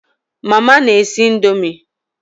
Mama n'esi ndomi